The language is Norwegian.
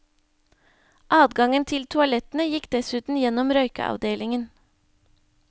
Adgangen til toalettene gikk dessuten gjennom røykeavdelingen.